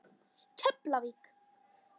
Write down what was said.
Keflavík